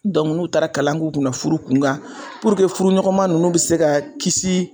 n'u taara kalan k'u kunna furu kunkan puruke furu ɲɔgɔnma ninnu bɛ se ka kisi